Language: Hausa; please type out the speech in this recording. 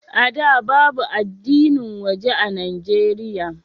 A da, babu addinin waje a Nijeriya.